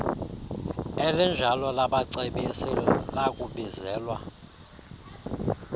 elinjalo labacebisi lakubizelwa